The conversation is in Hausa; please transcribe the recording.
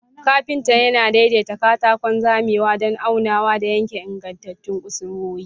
Kafinta yana daidaita katakon zamewa don aunawa da yanke ingantattun kusurwoyi.